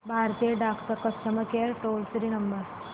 भारतीय डाक चा customer care toll free number